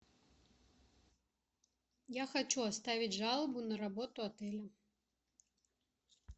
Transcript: я хочу оставить жалобу на работу отеля